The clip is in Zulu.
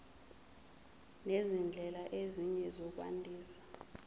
nezindlela ezinye zokwandisa